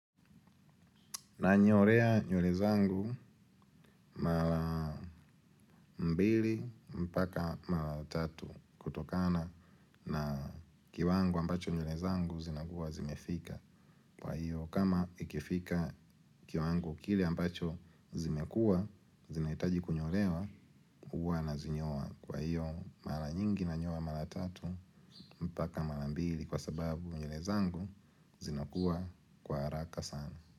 Nanyolea nywele zangu mara mbili mpaka mara tatu kutokana na kiwango ambacho nywele zangu zinakuwa zimefika. Kwa hiyo kama ikifika kiwango kile ambacho zimekua zinahitaji kunyolewa huwa nazinyoa. Kwa hiyo mara nyingi na nyoa mara tatu mpaka mara mbili kwa sababu nywele zangu zinakuwa kwa haraka sana.